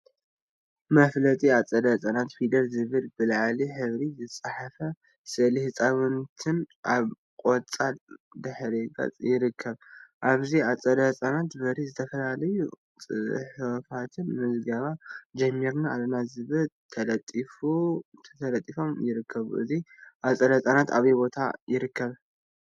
መፋለጢ አፀደ ህፃናት ፊደል ዝብል ብሊላ ሕብሪ ዝተፅሓፈን ስእሊ ህፃውንቲን አብ ቆፃል ድሕረ ገፅ ይርከቡ፡፡ አብዚ አፀደ ህፃናት በሪ ዝተፈላለዩ ፅሑፋትን ምዝገባ ጀሚርና አለና ዝብልን ተለጢፎም ይርከቡ፡፡ እዚ አፀደ ህፃናት አበይ ቦታ ይርከብ?